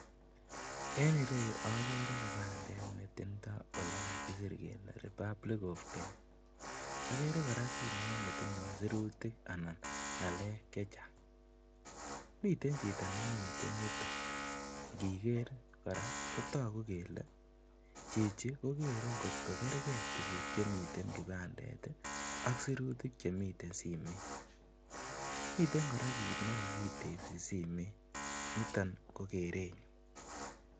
En ireyu okere kipandet netindo olekakisir kelee Republic of Kenya, okere kora simoit netindo sirutik anan ng'alek chechang, miten chito nemiten yuton, ng'iker kora kotoku kelee chichi ko keree ing'ot ko kerkee tukuk chemi simoit ak chemiten kibandet ak sirutik chemiten simoit, miten kora kiit nekokitebsi simoit niton ko kerenyun.